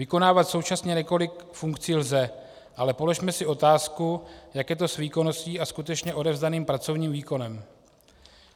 Vykonávat současně několik funkcí lze, ale položme si otázku, jak je to s výkonností a skutečně odevzdaným pracovním výkonem.